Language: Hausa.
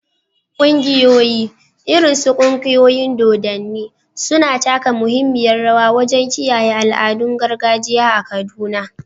Ƙungiyoyi, irin su ƙungiyoyin dodanni, suna taka muhimmiyar rawa wajen kiyaye al’adun gargajiya a Kaduna.